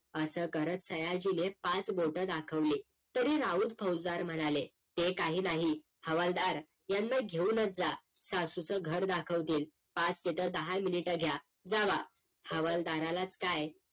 असं करत सयाजीने पाच बोट दाखवली तरी राऊत फौसदार म्हणाले हे काही नाही हवलदार यांना घेऊन च जा सासूच घर दाखवतील पाच तिथं दहा MINUTE घ्या जाव्हा हवलदाराला च काय